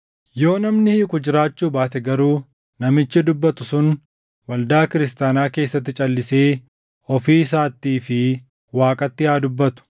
Yoo namni hiiku jiraachuu baate garuu namichi dubbatu sun waldaa kiristaanaa keessatti calʼisee ofii isaattii fi Waaqatti haa dubbatu.